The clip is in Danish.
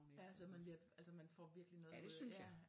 Ja så altså man får virkeligt noget ud af det